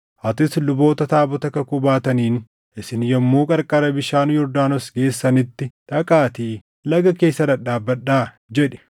Atis luboota taabota kakuu baataniin, ‘Isin yommuu qarqara bishaan Yordaanos geessanitti, dhaqaatii laga keessa dhadhaabadhaa’ jedhi.”